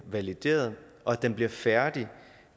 valideret og at den bliver færdig